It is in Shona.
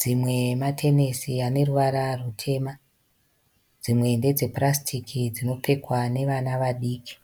Dzimwe matenesi ane ruvara rutema. Dzimwe ndedzepurasitiki dzinopfekwa navana vadiki.